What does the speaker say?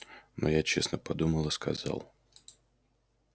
но я честно подумал и сказал